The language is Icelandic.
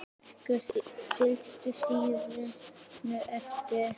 Fylgja sínum eftir.